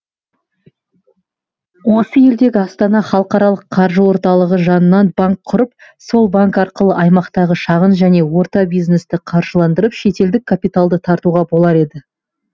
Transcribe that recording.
осы елдегі астана халықаралық қаржы орталығы жанынан банк құрып сол банк арқылы аймақтағы шағын және орта бизнесті қаржыландырып шетелдік капиталды тартуға болар еді